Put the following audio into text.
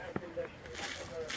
Əksinə şaşka qoy.